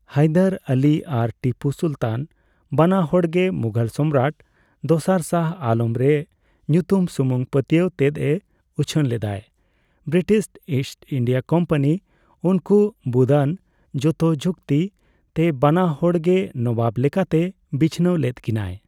ᱦᱟᱭᱫᱟᱨ ᱟᱞᱤ ᱟᱨ ᱴᱤᱯᱩ ᱥᱩᱞᱛᱟᱱ ᱵᱟᱱᱟ ᱦᱚᱲᱜᱮ ᱢᱩᱜᱷᱚᱞ ᱥᱚᱢᱨᱟᱴ ᱫᱚᱥᱟᱨ ᱥᱟᱦᱚ ᱟᱞᱚᱢ ᱨᱮ ᱧᱩᱛᱩᱢ ᱥᱩᱢᱩᱝ ᱯᱟᱹᱛᱭᱟᱹᱣ ᱛᱮᱫ ᱮ ᱩᱪᱷᱟᱹᱱ ᱞᱮᱫᱟᱭ ᱾ ᱵᱤᱨᱤᱴᱤᱥ ᱤᱥᱴ ᱤᱱᱰᱤᱭᱟ ᱠᱳᱢᱯᱟᱱᱤ ᱩᱱᱠᱩ ᱵᱩᱫ ᱟᱱ ᱡᱷᱚᱛᱚ ᱪᱩᱠᱛᱤ ᱛᱮ ᱵᱟᱱᱟ ᱦᱚᱲᱜᱮ ᱱᱚᱵᱟᱵ ᱞᱮᱠᱟᱛᱮ ᱵᱤᱪᱷᱱᱟᱹᱣ ᱞᱮᱫ ᱠᱤᱱᱟᱭ ᱾